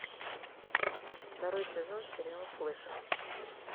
второй сезон сериал флэш